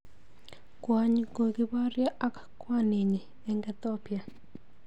Kwony kokiboryo ak kwaninyi eng Ethiopia.